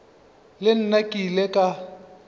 le nna ke ile ka